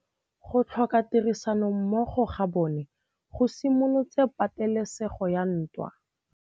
Go tlhoka tirsanommogo ga bone go simolotse patêlêsêgô ya ntwa.